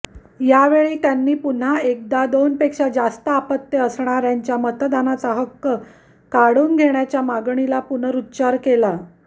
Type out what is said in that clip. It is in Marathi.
यावेळी त्यांनी पुन्हा एकदा दोनपेक्षा जास्त अपत्ये असणाऱ्यांचा मतदानाचा हक्क काढून घेण्याच्या मागणीचा पुनरुच्चार केला